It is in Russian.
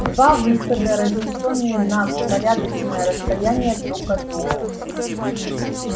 два выхода разнесённые на порядочное расстояние друг от друга